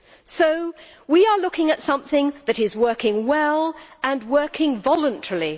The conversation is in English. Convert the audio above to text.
So we are looking at something that is working well and working voluntarily.